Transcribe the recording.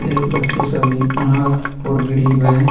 ये बच्चे सभी अनाथ और गरीब हैं।